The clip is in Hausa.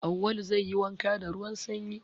Awwalu zai yi wanka da ruwan sanyi.